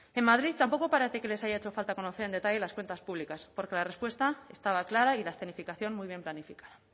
en madrid tampoco parece que les haya hecho falta conocer en detalle las cuentas públicas porque la respuesta estaba clara y la escenificación muy bien planificada